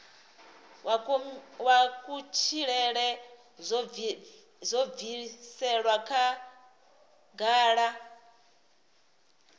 wa kutshilele zwo bviselwa khagala